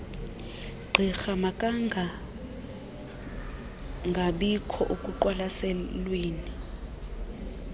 gqirha makangangabikho ekuqwalaselweni